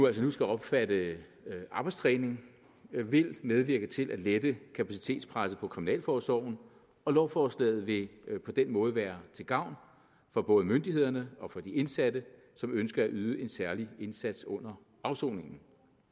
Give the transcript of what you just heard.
altså nu skal omfatte arbejdstræning vil medvirke til at lette kapacitetspresset på kriminalforsorgen og lovforslaget vil på den måde være til gavn for både myndigheder og for de indsatte som ønsker at yde en særlig indsats under afsoningen